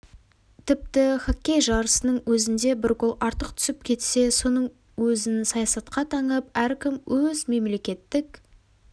тіпті хоккей жарысының өзінде бір гол артық түсіп кетсе соның өзін саясатқа таңып әркім өз мемлекеттік